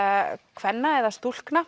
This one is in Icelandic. kvenna eða stúlkna